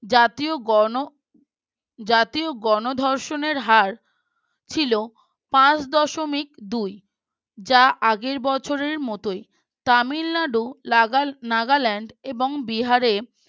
জাতীয় গণ জাতীয় গণধর্ষণের হার ছিল পাঁচ দশমিক দুই যা আগের বছরের মতোই তামিলনাড়ু লাগা নাগালান্দ এবং বিহারে